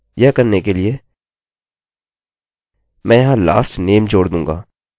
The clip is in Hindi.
यह करने के लिए मैं यहाँ lastname जोड़ दूँगा